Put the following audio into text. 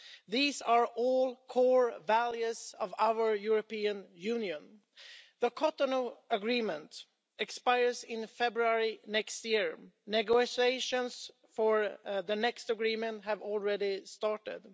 These are all core values of our European Union. The Cotonou Agreement expires in February next year. Negotiations for the next agreement have already started.